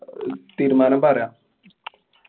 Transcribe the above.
തീരുമാനം പറയാം